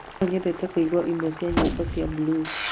No nyende kũigua ĩmwe cia nyĩmbo cia blues